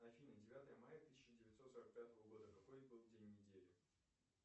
афина девятое мая тысяча девятьсот сорок пятого года какой был день недели